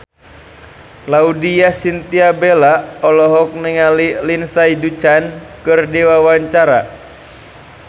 Laudya Chintya Bella olohok ningali Lindsay Ducan keur diwawancara